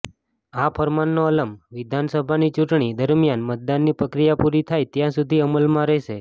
આ ફરમાનનો અલમ વિધાનસભાની ચૂંટણી દરમિયાન મતદાનની પ્રક્રિયા પુરી થાય ત્યાં સુધી અમલમાં રહેશે